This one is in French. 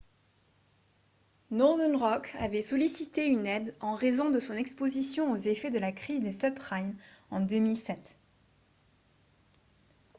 northern rock avait sollicité une aide en raison de son exposition aux effets de la crise des subprimes en 2007